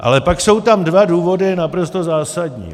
Ale pak jsou tam dva důvody naprosto zásadní.